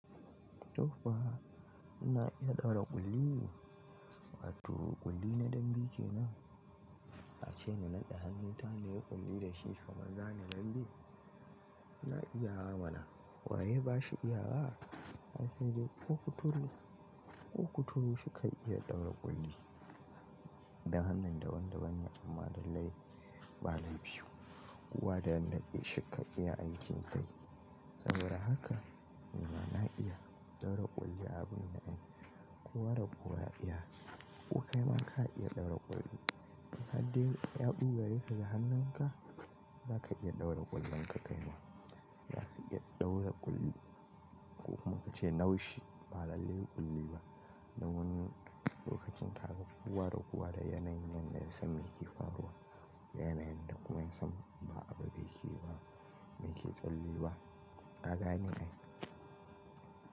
Tofa na iya ɗaura ƙulli? Wato ƙulli na dambe kenan? A ce na naɗa hannunta nayi ƙulli da shi kaman zani dambe. Na iya mana. Waye bashi iyawa? An ce ko kuturu, ko kuturu shikan iya ɗaura ƙulli. Da hannun da wanda ban ya amma lallai ba laifi. Kowa da yanda shika iya aikin kai. Saboda haka nima na iya ɗaura ƙulli abin da ai kuwa rakowa ya iya. Ku kai ma ka iya ɗaura ƙulli. Haddain ya ɗure ka da hannunka, zaka iya ɗaura ƙullin ka kaima. Haddain ya ɗure ka da hannun ka, zaka iya ɗaura ƙullun ka kai ma. Zaka iya ɗaura ƙulli ko kuma ka ce naushi ba lallai ƙulli ba. Da wani lokacin ta ga kuwa rakowa da yanayin da ya san yake faruwa.